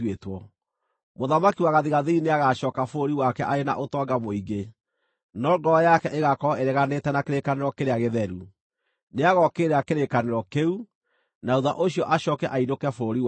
Mũthamaki wa gathigathini nĩagacooka bũrũri wake arĩ na ũtonga mũingĩ, no ngoro yake ĩgaakorwo ĩreganĩte na kĩrĩkanĩro kĩrĩa gĩtheru. Nĩagookĩrĩra kĩrĩkanĩro kĩu, na thuutha ũcio acooke ainũke bũrũri wake.